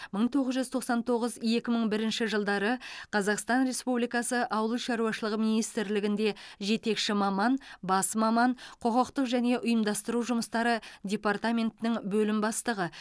мың тоғыз жүз тоқсан тоғыз екі мың бірінші жылдары қазақстан республикасы ауыл шаруашылығы министрлігінде жетекші маман бас маман құқықтық және ұйымдастыру жұмыстары департаментінің бөлім бастығы